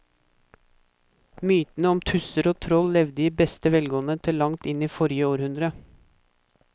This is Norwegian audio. Mytene om tusser og troll levde i beste velgående til langt inn i forrige århundre.